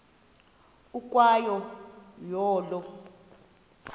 ukwa yo olo